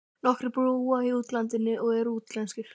Nokkrir búa í útlandinu og eru útlenskir.